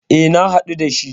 E, na haɗu da shi.